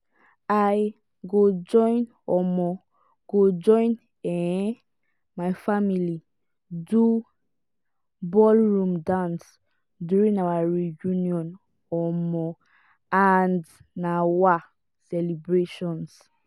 i go join um go join um my family do ballroom dance during our reunions um and um celebrations.